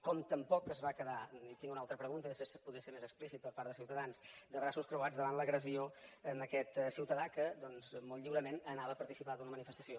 com tampoc es va quedar tinc una altra pregunta i després podré ser més explícit per part de ciutadans de braços creuats davant l’agressió a aquest ciutadà que molt lliurement anava a participar d’una manifestació